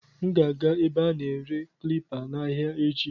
M ga-aga ebe a na-ere klipa n'ahịa echi.